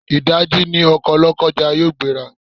Ìdáji ni ọkọ̀ Lọ́kọ́ja yóò gbé ra.